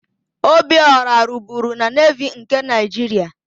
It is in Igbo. Obiora rụburu na Nevi nke Naịjiria.